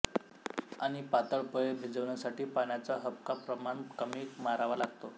आणि पातळ पोहे भिजवण्यासाठी पाण्याचा हबकाप्रमाणकमी मारावा लागतो